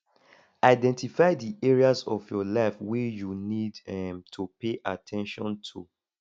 identify di areas of your life wey you need um to pay at ten tion to